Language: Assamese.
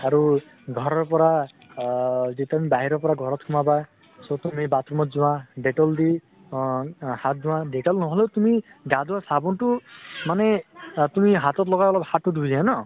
আৰু ঘৰৰ পৰা আহ যেতিয়া আমি বাহিৰৰ পৰা ঘৰত সোমাবা so তুমি bath room ত যোৱা dettol দি হাত ধোৱা । dettol নহলেও তুমি গা ধোৱা চাবোন টো মানে চা তুমি হাতত লগাই অলপ হাত টো ধুই দিয়া ন?